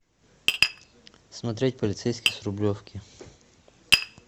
смотреть полицейский с рублевки